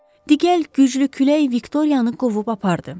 Digər güclü külək Viktoriyanı qovub apardı.